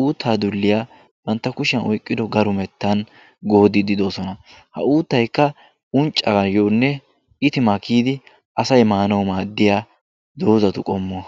uuttaa dulliyaa bantta kushiyaan oyqqido garumettaan goodidi doosona. ha uuttaay unccaayonne itimaa kiyidi asay maanawu maaddiyaa doozatu qomuwaa.